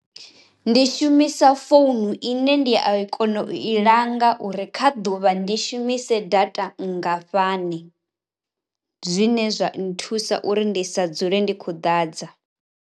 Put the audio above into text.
Ndi shumisa founu ine ndi a kona u i langa uri kha ḓuvha ndi shumise data nngafhani, zwine zwa nthusa uri ndi sa dzule ndi khou ḓadza.